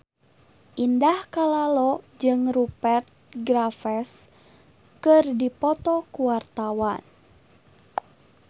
Indah Kalalo jeung Rupert Graves keur dipoto ku wartawan